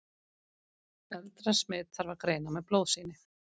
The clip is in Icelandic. eldra smit þarf að greina með blóðsýni